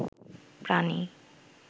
প্রাণী